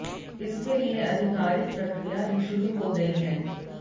इसके लिए अधिकारिक प्रक्रिया भी शुरू हो गई है